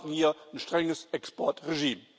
Wir brauchen hier ein strenges Exportregime.